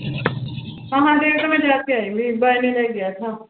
ਮਹਾਂਦੇਵ ਤਾਂ ਮੈਂ ਜਾ ਕੇ ਆਈ ਸੀ ਬਰਨ ਲੇ ਗਿਆ ਥਾ।